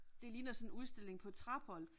Det ligner sådan en udstilling på Trapholt